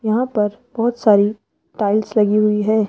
यहां पर बहोत सारी टाइल्स लगी हुई है।